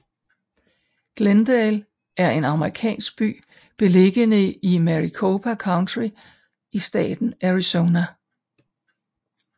Glendale er en amerikansk by beliggende i Maricopa County i staten Arizona